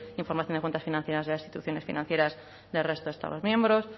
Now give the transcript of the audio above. información de cuentas financieras de las instituciones financieras del resto de estados miembros